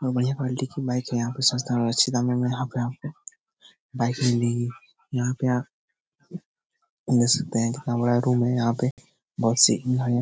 बढ़िया क्वालिटी की बाइक यहाँ पे सस्ता और अच्छे दामों मे यहाँ पे आपको बाइक मिलेगी यहाँ पे आप देख सकते हैं कितना बड़ा रूम है यहाँ पे बहुत सी --